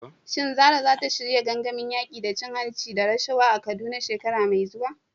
Shin Zarah za ta shirya gangamin yaƙi da cin hanci da rashawa a Kaduna shekara mai zuwa?